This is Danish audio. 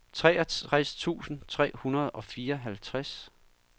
treogtres tusind tre hundrede og fireoghalvtreds